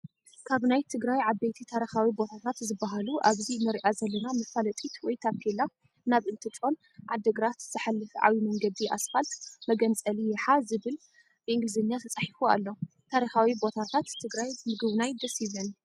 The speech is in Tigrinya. ካብ ናይ ትግራይ ዓበይቲ ታሪካዊ ቦታታት ዝበሃሉ ኣብዚ እንሪኣ ዘለና መፋለጢት ወይ ታፔላ ናብ እንትጮን ኣድግራት ዝሓፍ ዓብይ መንገዲ ኣስፋት መገንፀሊ ያሓ ዝብል ብእንግሊዘኛ ተፃሒፉ ኣሎ። ታሪካዊ ቦታት ትግራይ ምግብናይ ደስ ይብለኒ።